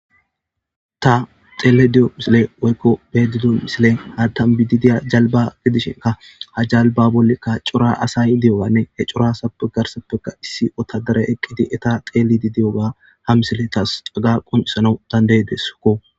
ta xeelayda diyo misile woykko be'ayda diyo misilen hatan bidi diya jalba gidishinka ha jalba bollekka cora asay diyoganne he corasappegarsappeka issi otadare eqqidi eta xeelidi diyoga ha misile taas caga qonisana dandaydeskko